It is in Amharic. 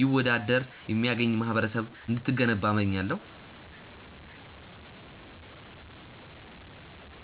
ይወዳድር የሚያገኝ ማህበረሰብ እንድትገነባ እመኛለሁ።